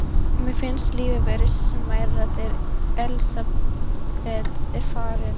Mér finnst lífið vera smærra þegar Elsabet er farin.